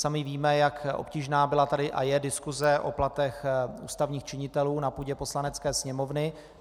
Sami víme, jak obtížná tady byla a je diskuse o platech ústavních činitelů na půdě Poslanecké sněmovny.